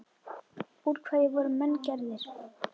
Úr hverju voru menn gerðir?